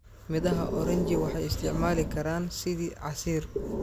Midhaha oranji waxay isticmaali karaan sidii casiir.